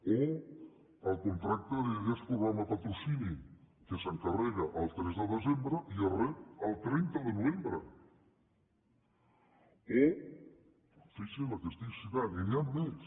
o el contracte d’idees de programes de patrocini que s’encarrega el tres de desembre i es rep el trenta de novembre fixi’s el que estic citant i n’hi han més